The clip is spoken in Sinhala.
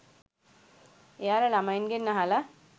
එයාලා ළමයින්ගෙන් අහලා